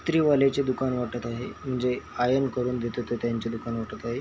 ईस्त्री वालेचे दुकान वाटत आहे म्हणजे आयर्न करून देतात ते त्यांचे दुकान वाटत आहे.